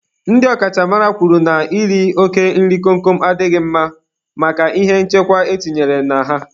Ndị ọ kachamara kwuru na iri oke nri kom kom a adịghị mma maka ihe nchekwa e tinyere na ha.